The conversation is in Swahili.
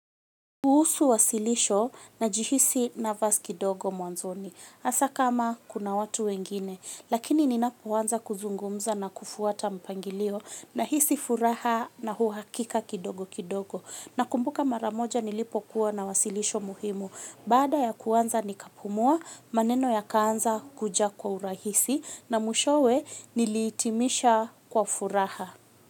Kuhusu wasilisho na jihisi nervous kidogo mwanzoni, asa kama kuna watu wengine, lakini ninapo wanza kuzungumza na kufuata mpangilio na hisi furaha na huu hakika kidogo kidogo. Na kumbuka maramoja nilipokuwa na wasilisho muhimu, baada ya kuanza nikapumua, maneno yakaanza kuja kwa urahisi na mwishowe niliitimisha kwa furaha.